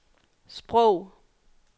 sprog